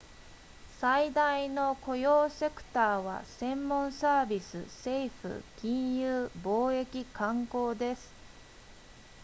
最大の雇用セクターは専門サービス政府金融貿易観光です